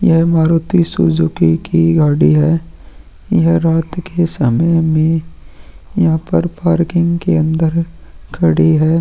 यह मारुति सुजुकी की गाडी है यह रात के समय में यहाँ पर पार्किंग के अंदर खड़ी है।